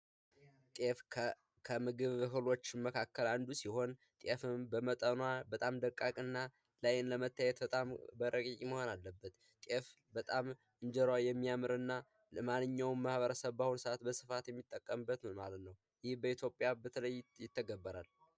ጤፍ ከምግብ እህሎች መካከል አንዱ ሲሆን ጤፍም በመጠኗ በጣም ደቃቅ እና በአይን ለመታየት ረቂቅ መሆን አለበት። ጤፍ በጣም እንጀራዋ የሚያምር እና ለማንኛውም ማህበረሰብ በአሁኑ ሰዓት በስፋት የሚጠቀምበት ነው ማለት ነው። ይህ በኢትዮጵያ በተለይ ይተገበራል።